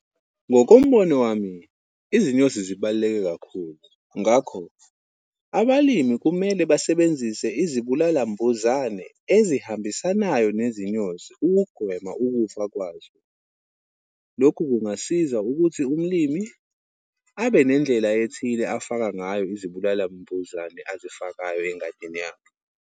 Ngokombono wami, izinyosi zibaluleke kakhulu. Ngakho, abalimi kumele basebenzise izibulala mbuzane ezihambisanayo nezinyosi ukugwema ukufa kwazo. Lokhu kungasiza ukuthi umlimi, abe nendlela ethile afaka ngayo izibulala mbuzane azifakayo engadini yakhe.